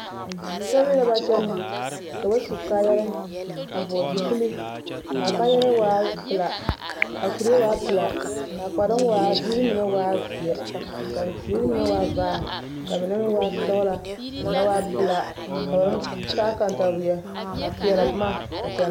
Sobiri la ba kyɛnɛ ka ba su kaayarɛɛ a vɔgele zupile k'a kaayarɛɛ waa pelaa, a kuree waa pelaa k'a kparoŋ waa a ziiri mine waa zeɛ k'a ziiri mine waa vaare k'a mine meŋ waa sɔgelaa ka mine waa pelaa ka ba kantaweɛ a peɛlɛ boma a kyɛnɛ.